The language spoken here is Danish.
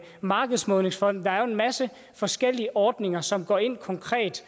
markedsmålingsfonden der er jo en masse forskellige ordninger som konkret